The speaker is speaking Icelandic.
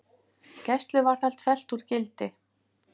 Gæsluvarðhald fellt úr gildi